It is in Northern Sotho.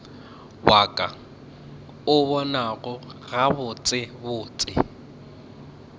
wa ka o bonago gabotsebotse